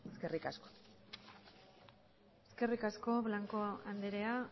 eskerrik asko eskerrik asko blanco andrea